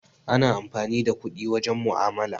Ana amfani da kuɗi wajen mu'amala.